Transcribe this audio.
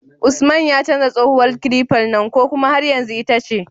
Usman ya canja tsohuwar kilifar nan ko kuma har yanzu ita ce?